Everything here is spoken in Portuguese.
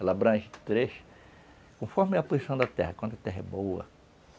Ela abrange três conforme a posição da terra, quando a terra é boa.